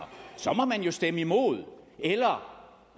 så må man jo stemme imod eller